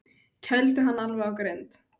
Kældu hann alveg á grind.